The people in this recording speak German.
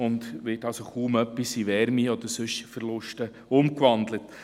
Es wird kaum etwas in Wärme oder sonstige Verluste umgewandelt.